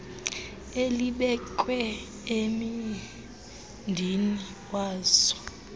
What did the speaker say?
elibekwe embindini wazo